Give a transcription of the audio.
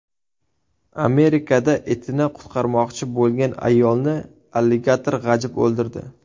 Amerikada itini qutqarmoqchi bo‘lgan ayolni alligator g‘ajib o‘ldirdi.